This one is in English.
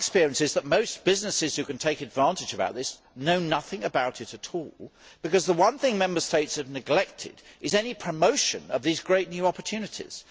But my experience is that most businesses who can potentially take advantage of this know nothing about it at all, because the one thing Member States have neglected is any promotion of these great new opportunities.